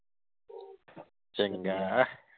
ਚੰਗਾ